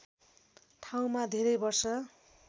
ठाउँमा धेरै वर्ष